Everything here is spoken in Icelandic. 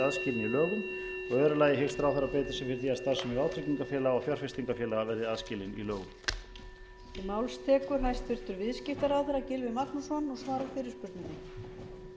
verði aðskilin í lögum annars hyggst ráðherra beita sér fyrir því að starfsemi vátryggingafélaga og fjárfestingarfélaga verði aðskilin í lögum